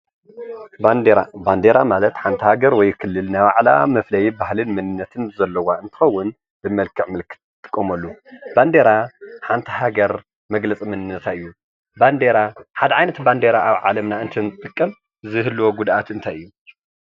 ባንዴራ ፦ባንዴራ ማለት ሃንቲ ሃገር ወይ ክልል ናይ ባዕላ መፍለይን ባህልን መንነት ዘለዋ እንተኸውን ብመልክዕ ምልክት ትጥቀመሉ። ባንዴራ ሓንቲ ሃገር መግለፂ መንነታ እዩ። ባንዴራ ሓደ ዓይነት ባንዴራ ኣብ ዓለምና እንተንጥቀም ዝህልዎ ጉድኣት እንታይ እዩ?